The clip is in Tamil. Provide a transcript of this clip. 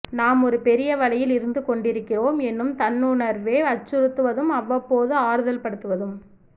நாம் ஒரு பெரிய வலையில் இருந்துகொண்டிருக்கிறோம் என்னும் தன்னுணர்வே அச்சுறுத்துவதும் அவ்வப்போது ஆறுதல்படுத்துவதும்